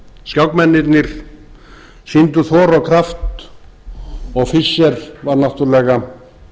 þar sem skákmennirnir sýndu þor og kraft og fischer var náttúrlega